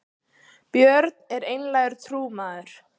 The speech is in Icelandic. björn var einlægur trúmaður